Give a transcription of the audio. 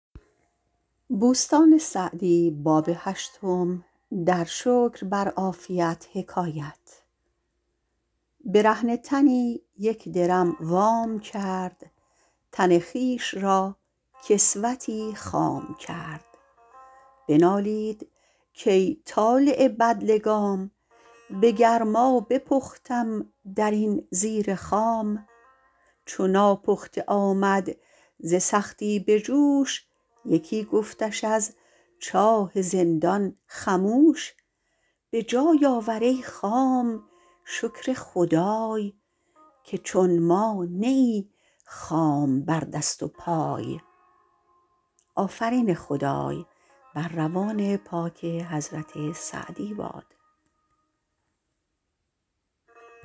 برهنه تنی یک درم وام کرد تن خویش را کسوتی خام کرد بنالید کای طالع بدلگام به گرما بپختم در این زیر خام چو ناپخته آمد ز سختی به جوش یکی گفتش از چاه زندان خموش به جای آور ای خام شکر خدای که چون ما نه ای خام بر دست و پای